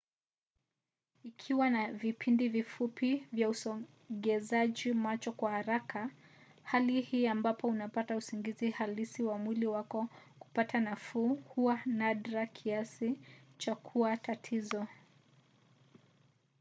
ikiwa na vipindi vifupi vya usogezaji macho kwa haraka hali hii ambapo unapata usingizi halisi na mwili wako kupata nafuu huwa nadra kiasi cha kuwa tatizo